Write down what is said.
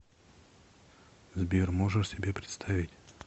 сбер можешь себе представить